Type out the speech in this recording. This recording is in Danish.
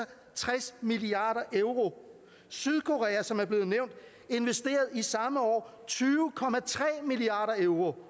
tres milliard euro sydkorea som er blevet nævnt investerede i samme år tyve milliard euro